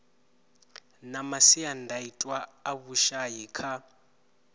na masiandaitwa a vhushai kha